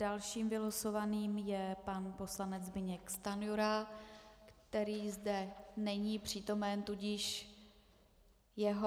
Dalším vylosovaným je pan poslanec Zbyněk Stanjura, který zde není přítomen, tudíž jeho...